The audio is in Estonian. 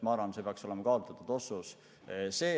Ma arvan, et see peaks olema kaalutletud otsus.